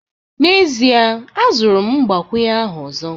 N'ezie, azụrụ m mgbakwunye ahụ ọzọ